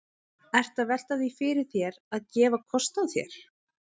Ertu að velta því fyrir þér að, að gefa kost á þér?